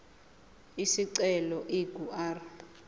isicelo ingu r